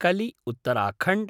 कलि - उत्तराखण्ड्